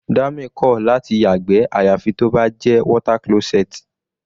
Dami kò láti yàgbẹ́ àyàfi tó bá jẹ́ water closet.